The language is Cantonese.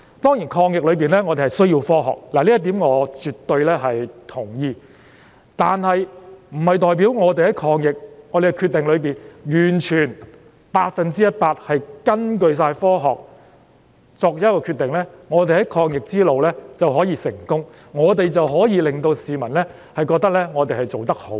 當然，在抗疫中，我們需要科學，這點我絕對同意，但是，這不代表我們完全百分之一百根據科學作出決定，便可以在抗疫路上取得成功，可以令市民覺得我們做得好。